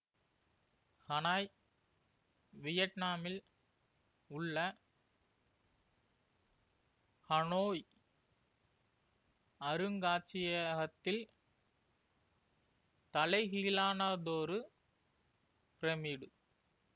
Hanoi வியட்நாமில் உள்ள Hanoi அருங்காட்சியகத்தில் தலைகீழானதொரு பிரமிடு